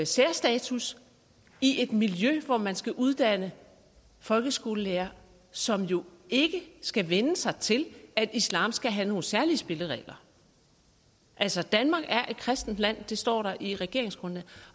særstatus i et miljø hvor man skal uddanne folkeskolelærere som jo ikke skal vænne sig til at islam skal have nogle særlige spilleregler altså danmark er et kristent land det står der i regeringsgrundlaget